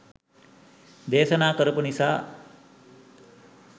දේශනා කරපු නිසා